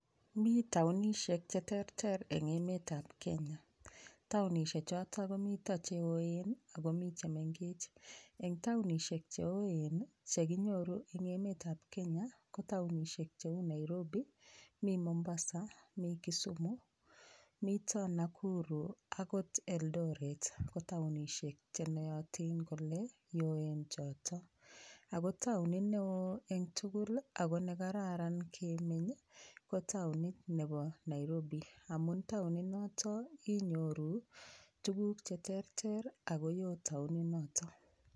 Mii taonishek cheterter en emetab Kenya, taonishek choton komiten cheoen ak komii chemeng'ech, en taonishek cheoen che kinyoru en emetab Kenya kotaonishek cheu Nairobi, mii Mombasa, mii kisumu, miito Nakuru akot Eldoret ko taonishek chenoyotin kolee cheoen choto, ak ko taonit neo en tukul ak ko nekararan kemeny ko taonit nebo Nairobi amun taoni noto inyorun tukuk cheterter ak ko woon taoni niton.